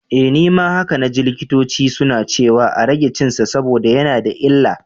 Eh, nima haka naji likitoci suna ciwa a rage cinsa saboda yana da illa.